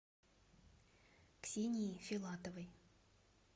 ксении филатовой